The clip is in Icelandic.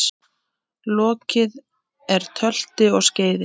Lokið er tölti og skeiði.